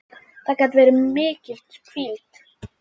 Það gat verið mikil hvíld.